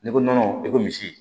N'i ko nɔnɔ i ko misi